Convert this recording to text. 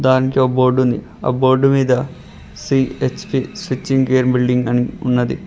దానికీ ఓ బోర్డుంది ఆ బోర్డు మీద సి_హెచ్_పి స్విచ్చింగ్ కేర్ బిల్డింగ్ అని ఉన్నది.